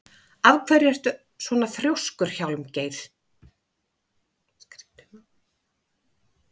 Af hverju ertu svona þrjóskur, Hjálmgeir?